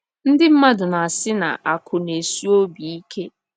NDỊ mmadụ na - asị na “ akụ̀ na - esi obi ike. ”